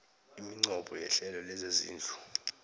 iminqopho yehlelo lezezindlu